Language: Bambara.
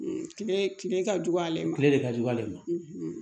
Kile kile ka jugu ale ma tile de ka jugu ale ma